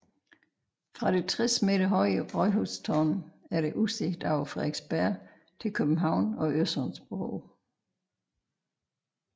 Fra det 60 m høje rådhustårn er der udsigt over Frederiksberg til København og Øresundsbroen